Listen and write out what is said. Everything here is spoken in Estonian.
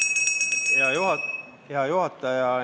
Hea juhataja!